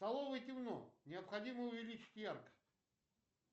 в столовой темно необходимо увеличить яркость